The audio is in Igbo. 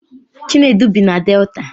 Chinedu bi na Delta